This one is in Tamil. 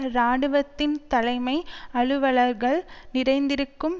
இராணுவத்தின் தலைமை அலுவலர்கள் நிறைந்திருக்கும்